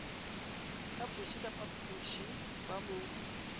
phapoše ka phapoše ba mo